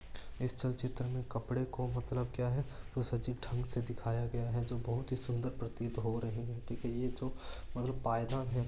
इस चल चित्र में कपडे को मतलब क्या है उसे अजीब ढंग से दिखाया गया है जो बहुत ही सुन्दर प्रतीत हो रहे है ठीक है ये जो मतलब पायदान है।